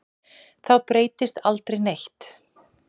Þá breytist aldrei neitt.